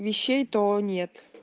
вещей то нет